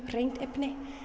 hreinu efni